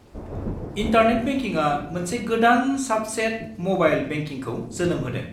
Internet बेंकिंआ मोनसे गोदान साबसेट-म'बाइल बेंकिंखौ जोनोम होदों।